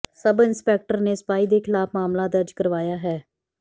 sub-inspector ਨੇ ਸਿਪਾਹੀ ਦੇ ਖਿਲਾਫ ਮਾਮਲਾ ਦਰਜ ਕਰਵਾਇਆ ਹੈ